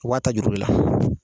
U b'a ta juru de la.